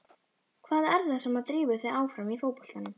Hvað er það sem drífur þig áfram í fótboltanum?